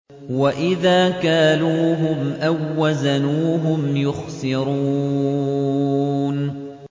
وَإِذَا كَالُوهُمْ أَو وَّزَنُوهُمْ يُخْسِرُونَ